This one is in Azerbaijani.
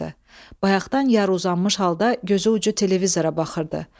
Bayaqdan yarı uzanmış halda gözü ucu televizora baxırdı.